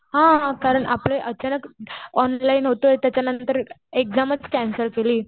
हा. कारण आपले अचानक ऑनलाईन होतंय. त्याच्यानंतर एक्झामच कॅन्सल केली.